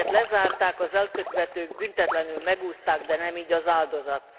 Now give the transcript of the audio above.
Az ügyet lezárták, az elkövetők büntetlenül megúszták, de nem így az áldozat.